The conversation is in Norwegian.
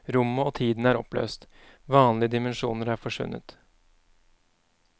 Rommet og tiden er oppløst, vanlige dimensjoner er forsvunnet.